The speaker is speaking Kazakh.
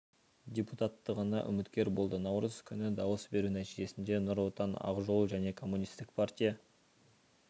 депутаттығына үміткер болды наурыз күні дауыс беру нәтижесінде нұр отан ақ жол және коммунистік партия